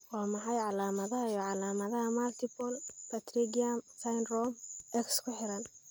Waa maxay calaamadaha iyo calaamadaha Multiple pterygium syndrome X ku xiran?